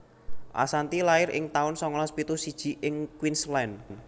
Assanti lair ing taun songolas pitu siji ing Queensland